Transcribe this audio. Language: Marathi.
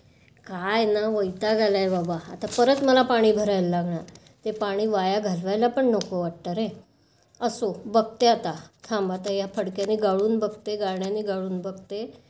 काय ना वैताग आलाय बाबा. आता परत मला पाणी भरला लागणार. ते पाणी वाया घालवायला पण नको वाटतं रे. असो, बघते आता. थांब आता या फडक्याने गाळून बघते, गाळण्याने गाळून बघते.